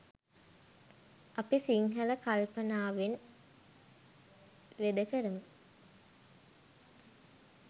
අපි සිංහල කල්පනාවෙන් වේද කරමු